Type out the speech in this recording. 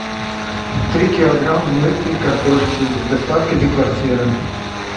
три килограмма мытой картошки с доставкой до квартиры